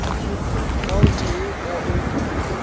ka o tee ka o